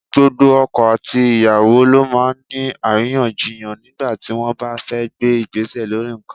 Gbogbo ọkọ àti ìyàwó ló máa ń ní àríyànjiyàn nígbà tí wọ́n bá fẹ́ gbé Ìgbésẹ̀ lórí nǹkan.